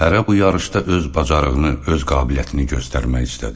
Hərə bu yarışda öz bacarığını, öz qabiliyyətini göstərmək istədi.